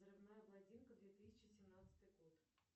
взрывная блондинка две тысячи семнадцатый год